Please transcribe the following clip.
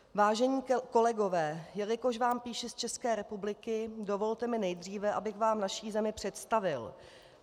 Vážení kolegové, jelikož vám píši z České republiky, dovolte mi nejdříve, abych vám naši zemi představil.